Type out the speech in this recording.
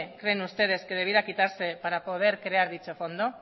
creen ustedes que debiera quitarse para crear dicho fondo